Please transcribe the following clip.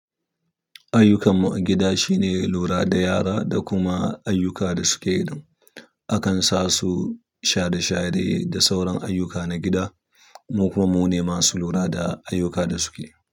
Ayyukan mu a gida shine lura da yara da kuma ayyuka da suke ɗin akan sa su share share da sauran ayyuka na gida mu kuma mune masu lura da ayyuka da suke yi.